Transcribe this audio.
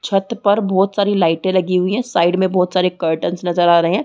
छत पर बहोत सारी लाइटे लगी हुई है साइड में बहोत सारे कर्टन्स नज़र आ रहे है।